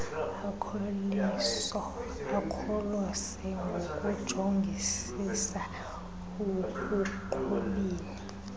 akholose ngokujongisisa ekuqhubeni